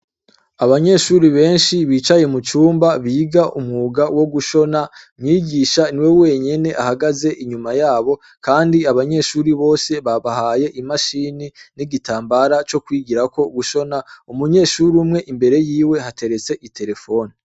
Abanyeshure benshi bicaye mu cumba biga umwuga wo gushona. Umwigisha niwe wenyene ahagaze inyuma yabo kandi abanyeshure bose babahaye imashini n'igitambara co kwigirako gushona. Umunyeshure umwe, imbere yiwe hateretse iterefone.